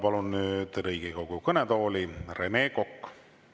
Palun nüüd Riigikogu kõnetooli Rene Koka.